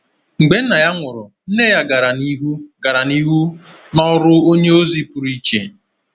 Mgbe nna ya nwụrụ, nne ya gara n’ihu gara n’ihu n’ọrụ onye ozi pụrụ iche.